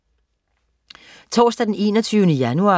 Torsdag den 21. januar